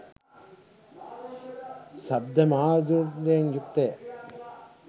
ශබ්ද මාධූර්යයෙන් යුක්තය.